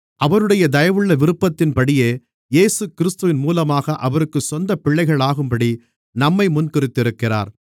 அவருடைய தயவுள்ள விருப்பத்தின்படியே இயேசுகிறிஸ்துவின் மூலமாக அவருக்குச் சொந்த பிள்ளைகளாகும்படி நம்மை முன்குறித்திருக்கிறார்